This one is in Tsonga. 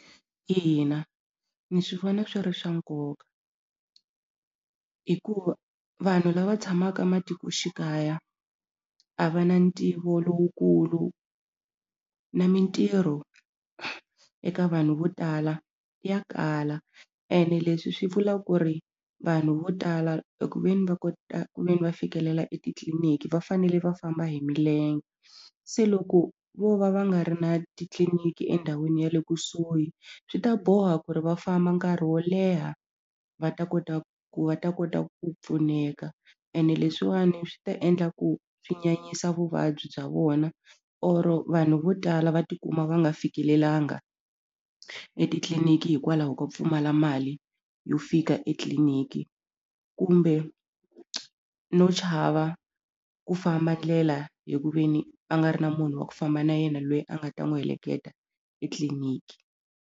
Ina ni swi vona swi ri swa nkoka hikuva vanhu lava tshamaka matikoxikaya a va na ntivo lowukulu na mintirho eka vanhu vo tala ya kala ene leswi swi vula ku ri vanhu vo tala eku ve ni va kota I mean va fikelela etitliliniki va fanele va famba hi milenge se loko vo va va nga ri na titliliniki endhawini ya le kusuhi swi ta boha ku ri va famba nkarhi wo leha va ta kota ku va ta kota ku pfuneka ene leswiwani swi ta endla ku swi nyanyisa vuvabyi bya vona or vanhu vo tala va ti kuma va nga fikelelangi etitliniki hikwalaho ko pfumala mali yo fika etliliniki kumbe no chava ku famba ndlela hi ku ve ni a nga ri na munhu wa ku famba na yena lweyi a nga ta n'wi heleketa etliliniki.